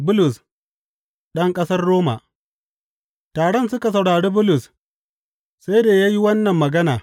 Bulus ɗan ƙasar Roma Taron suka saurari Bulus sai da ya yi wannan magana.